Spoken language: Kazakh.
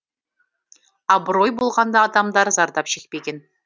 абырой болғанда адамдар зардап шекпеген